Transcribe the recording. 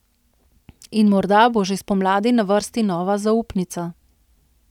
In morda bo že spomladi na vrsti nova zaupnica.